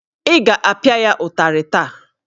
Ị ga-apịa ya ụtarị taa!